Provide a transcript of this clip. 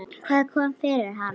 Hvað kom fyrir hann?